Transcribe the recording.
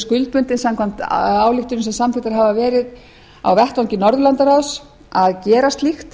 skuldbundin samkvæmt ályktunum sem samþykktar hafa verið á vettvangi norðurlandaráðs að gera slíkt